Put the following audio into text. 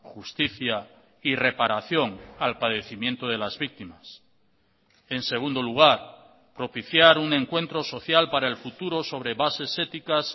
justicia y reparación al padecimiento de las víctimas en segundo lugar propiciar un encuentro social para el futuro sobre bases éticas